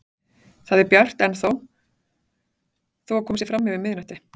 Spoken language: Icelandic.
Það er bjart ennþá þó að komið sé fram yfir miðnætti.